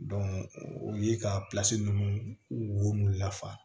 o ye ka ninnu wo lafa